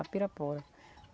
A Pirapora.